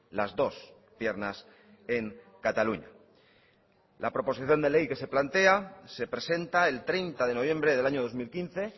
las dos piernas en cataluña la proposición de ley que se plantea se presenta el treinta de noviembre del año dos mil quince